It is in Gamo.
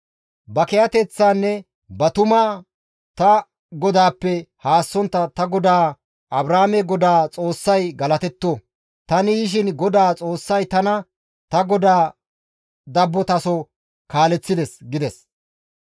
«Ba kiyateththaanne ba tumaa ta godaappe haassontta ta godaa Abrahaame GODAA Xoossay galatetto! Tani yishin GODAA Xoossay tana ta godaa dabbotaso kaaleththides» gides.